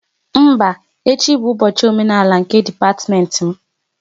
Mba, echi bụ ụbọchị omenala nke dipatiment m